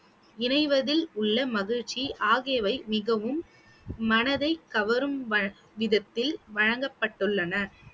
இணைவதில் உள்ள மகிழ்ச்சி ஆகியவை மிகவும் மனதை கவரும் வ~ விதத்தில் வழங்கப்பட்டுள்ளன